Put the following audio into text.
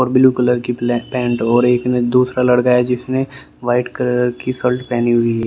blue colour की black pant एक दूसरा लड़का है जिसने वाइट कलर की शल्ट पहनी हुई --